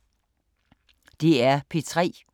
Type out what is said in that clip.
DR P3